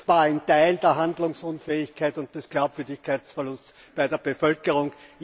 stehen, war ein Teil der Handlungsunfähigkeit und des Glaubwürdigkeitsverlusts bei der Bevölkerung.